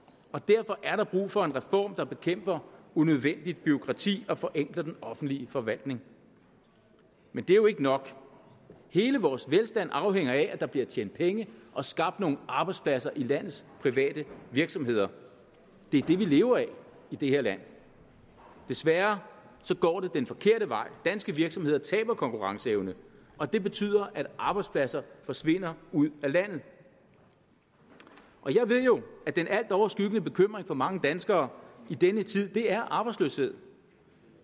og derfor er der brug for en reform der bekæmper unødvendigt bureaukrati og som forenkler den offentlige forvaltning men det er jo ikke nok hele vores velstand afhænger af at der bliver tjent penge og skabt nogle arbejdspladser i landets private virksomheder det er det vi lever af i det her land desværre går det den forkerte vej danske virksomheder taber konkurrenceevne og det betyder at arbejdspladser forsvinder ud af landet jeg ved jo at den altoverskyggende bekymring for mange danskere i denne tid er arbejdsløshed